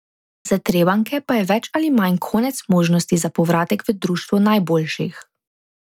Za Trebanjke pa je več ali manj konec možnosti za povratek v društvo najboljših.